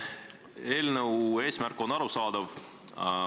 Eelnõu eesmärk on arusaadav.